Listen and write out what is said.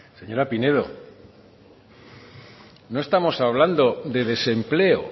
señora pinedo no estamos hablando de desempleo